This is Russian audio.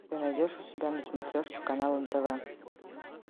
ты найдешь у себя на смотрешке канал нтв